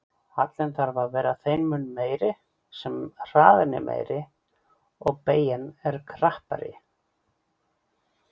Hallinn þarf að vera þeim mun meiri sem hraðinn er meiri og beygjan krappari.